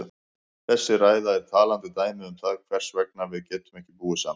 Þessi ræða er talandi dæmi um það hvers vegna við getum ekki búið saman.